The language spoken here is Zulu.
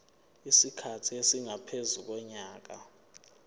isikhathi esingaphezu konyaka